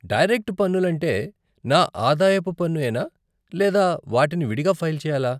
Direct పన్నులంటే నా ఆదాయపు పన్ను యేనా లేదా వాటిని విడిగా ఫైల్ చెయాలా?